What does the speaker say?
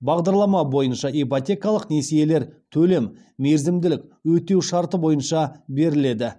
бағдарлама бойынша ипотекалық несиелер төлем мерзімділік өтеу шарты бойынша беріледі